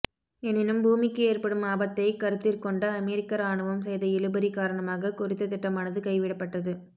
எனினும் பூமிக்கு ஏற்படும் ஆபத்தை கருத்திற் கொண்டு அமெரிக்க இராணுவம் செய்த இழுபறி காரணமாக குறித்த திட்டமானது கைவிடப்பட்டது